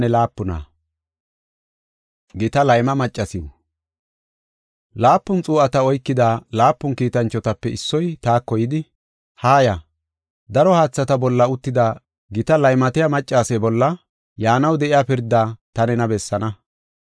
Laapun xuu7ata oykida laapun kiitanchotape issoy taako yidi, “Haaya; daro haathata bolla uttida gita laymatiya maccase bolla yaanaw de7iya pirdaa ta nena bessaana.